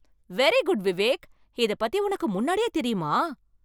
Very good Vivek! இதைப் பத்தி உனக்கு முன்னாடியே தெரியுமா?